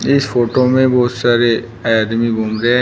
इस फोटो में बहुत सारे आदमी घूम रहे हैं।